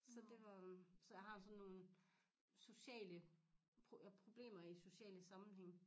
Så det var øh så jeg har sådan nogen sociale problemer i sociale sammenhænge